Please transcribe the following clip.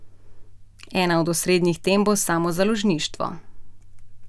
Ena od osrednjih tem bo samozaložništvo.